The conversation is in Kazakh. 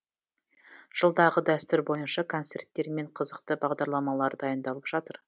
жылдағы дәстүр бойынша концерттер мен қызықты бағдарламалар дайындалып жатыр